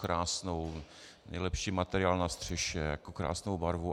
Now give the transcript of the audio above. Krásnou, nejlepší materiál na střeše, krásnou barvu.